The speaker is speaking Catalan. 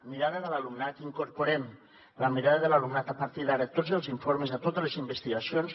mirada de l’alumnat incorporem la mirada de l’alumnat a partir d’ara a tots els informes a totes les investigacions